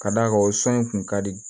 Ka d'a kan o sɔn in kun ka di